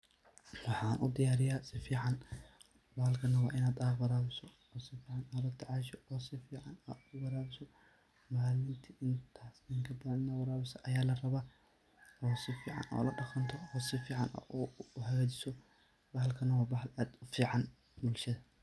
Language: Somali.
Waxaan udiyaariyaa sifiicaan, bahaalkaana waa inaa warawisaa, o sifiicaan o latacasho, o sifiicaan uwarawiso, maalinti intaas iyo in kabathaan ayaa larawaa inaa warawiso ayaa larawaa, o sifiicaan o ladaqanto, o sifiicaan u hagajiso, bahalkaanaa waa bahal aad ufiicaan bulshathaa.